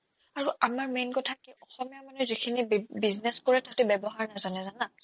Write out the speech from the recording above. আৰু আমাৰ main কথা কি অসমীয়া মানুহে যিখিনি বি business কৰে তাতে ব্যৱহাৰ নাজানে জানা